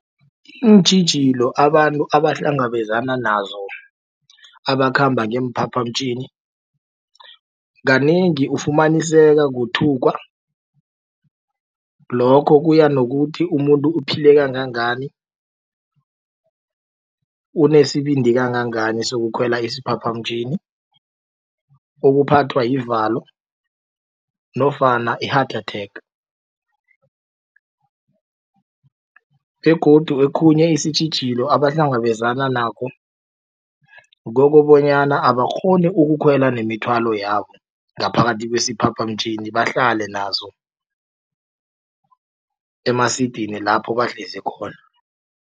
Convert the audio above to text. Iintjhijilo abantu abahlangabezana nazo abakhamba ngeemphaphamtjhini kanengi ufumaniseka kuthukwa lokho kuya nokuthi umuntu uphile kangangani unesibindi kangangani sokukhwela isiphaphamtjhini ukuphathwa yivunulo nofana i-heart attack. Begodu okhunye isitjhijilo abahlangabezana nakho kukobonyana abakghoni ukukhwela nemithwalo yabo ngaphakathi kwesiphaphamtjhini bahlale nazo emasidini lapho bahlezi khona.